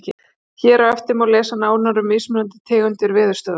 Hér á eftir má lesa nánar um mismunandi tegundir veðurstöðva.